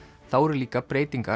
þá eru líka breytingar